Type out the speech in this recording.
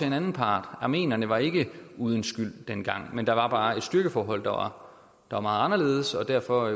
en anden part armenierne var ikke uden skyld dengang men der var bare et styrkeforhold der var meget anderledes og derfor